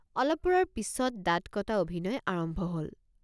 অলপ পৰৰ পিচত দাঁত কটা অভিনয় আৰম্ভ হল।